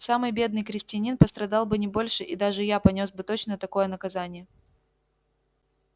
самый бедный крестьянин пострадал бы не больше и даже я понёс бы точно такое наказание